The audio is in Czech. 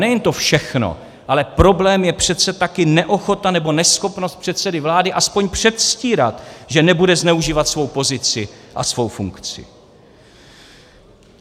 Nejen to všechno, ale problém je přece také neochota nebo neschopnost předsedy vlády aspoň předstírat, že nebude zneužívat svou pozici a svou funkci.